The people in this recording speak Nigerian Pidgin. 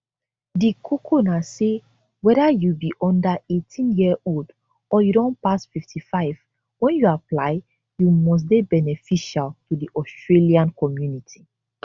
di koko na say weda you be under 18yearold or you don pass 55 wen you apply you must dey beneficial to di australian community